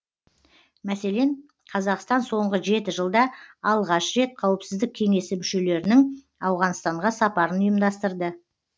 мәселен қазақстан соңғы жеті жылда алғаш рет қауіпсіздік кеңесі мүшелерінің ауғанстанға сапарын ұйымдастырды